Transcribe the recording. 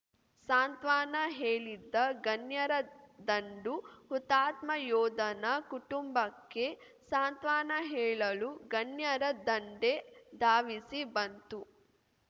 ಸಾಂತ್ವನ ಹೇಳಿದ ಗಣ್ಯರ ದಂಡು ಹುತಾತ್ಮ ಯೋಧನ ಕುಟುಂಬಕ್ಕೆ ಸಾಂತ್ವನ ಹೇಳಲು ಗಣ್ಯರ ದಂಡೇ ಧಾವಿಸಿ ಬಂತು